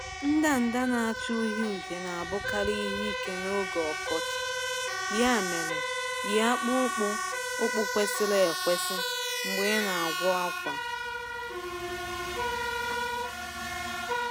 Ndanda na-acha uhie uhie na-abụkarị ihe ike n’oge ọkọchị, ya mere yie akpụkpọ ụkwụ ụkwụ kwesịrị ekwesị mgbe ị na-agwọ akwa.